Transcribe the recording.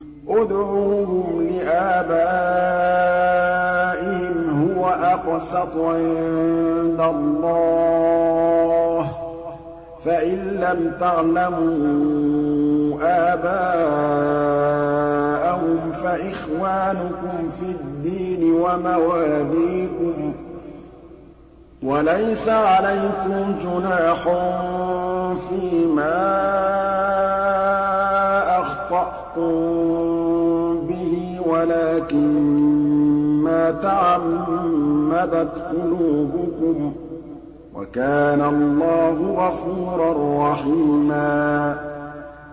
ادْعُوهُمْ لِآبَائِهِمْ هُوَ أَقْسَطُ عِندَ اللَّهِ ۚ فَإِن لَّمْ تَعْلَمُوا آبَاءَهُمْ فَإِخْوَانُكُمْ فِي الدِّينِ وَمَوَالِيكُمْ ۚ وَلَيْسَ عَلَيْكُمْ جُنَاحٌ فِيمَا أَخْطَأْتُم بِهِ وَلَٰكِن مَّا تَعَمَّدَتْ قُلُوبُكُمْ ۚ وَكَانَ اللَّهُ غَفُورًا رَّحِيمًا